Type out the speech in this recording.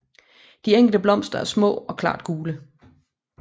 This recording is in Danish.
De enkelte blomster er små og klart gule